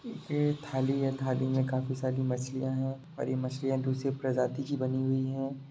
ये थाली है थाली में काफी सारी मछलियां हैं और ये मछलियां दूसरे प्रजाति की बनी हुई हैं।